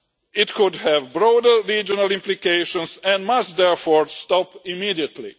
It could have broader regional implications and must, therefore, stop immediately.